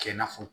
Kɛ i n'a fɔ